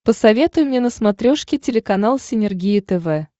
посоветуй мне на смотрешке телеканал синергия тв